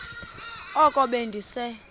oko be ndise